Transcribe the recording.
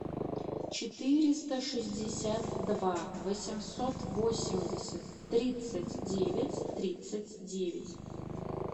четыреста шестьдесят два восемьсот восемьдесят тридцать девять тридцать девять